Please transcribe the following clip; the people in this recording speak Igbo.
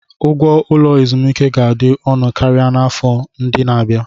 Ụgwọ ụlọ ezumike ga-adị ọnụ karịa n'afọ ndị na-abịa.